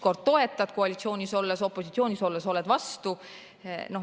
Noh, toetad koalitsioonis olles, opositsioonis olles oled vastu.